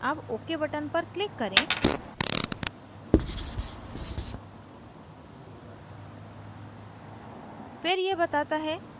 अब ok पर click करें